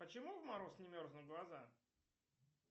почему в мороз не мерзнут глаза